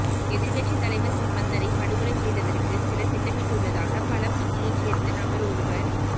எதிரக்கட்சித் தலைவர் சம்பந்தனை படுகொலைசெய்வதற்கு சிலர் திட்டமிட்டுள்ளதாக பலப்பிட்டியை சேர்ந்த நபர் ஓருவர்